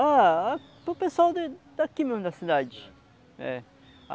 Ah, ah, para o pessoal da daqui mesmo, da cidade. É